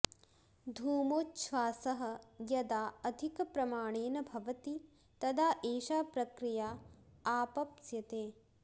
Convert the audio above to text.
धूमोच्छ्वासः यदा अधिकप्रमाणेन भवति तदा एषा प्रक्रिया आपप्स्यते